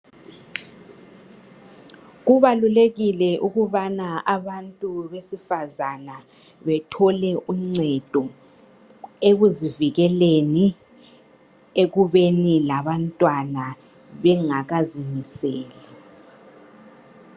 Kubalulekile ukubana abantu besifazana bethole uncedo ekuzivikeleni ekubeni labantwana bengakazimiseli.